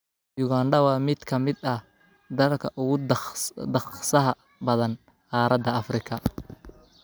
Uganda waa mid ka mid ah dalalka ugu dhaqsaha badan qaaradda Afrika.